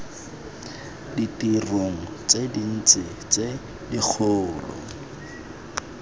ditirong tse dintsi tse dikgolo